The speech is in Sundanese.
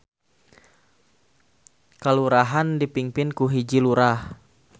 Kalurahan dipingpin ku hiji Lurah.